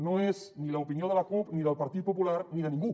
no és ni l’opinió de la cup ni del partit popular ni de ningú